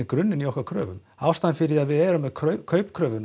grunninn í okkar kröfu ástæðan fyrir að við erum með